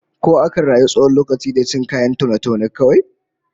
Ko akan rayu tsawon lokaci da cin kayan taune-taune kawai?